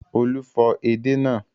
Olú fọ edé náà.